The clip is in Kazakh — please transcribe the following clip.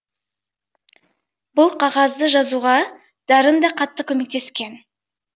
бұл қағазды жазуға дарын да қатты көмектескен